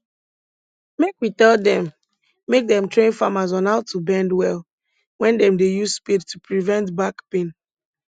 make we tell dem make dem train farmers on how to bend well when dem dey use spade to prevent back pain